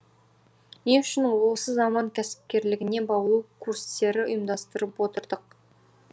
не үшін осы заман кәсіпкерлігіне баулу курістерін ұйымдастырып отырдық